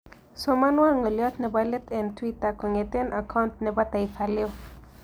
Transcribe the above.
somonwon ngolyot nebolet eng' twita kong'eten akaunt ne po taifa leo